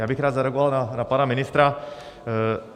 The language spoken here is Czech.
Já bych rád zareagoval na pana ministra.